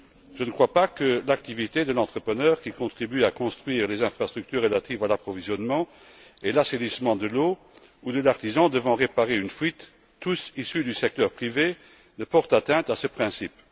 Je ne crois pas que l'activité de l'entrepreneur qui contribue à construire les infrastructures relatives à l'approvisionnement et à l'assainissement de l'eau ou de l'artisan devant réparer une fuite tous issus du secteur privé porte atteinte à ce principe.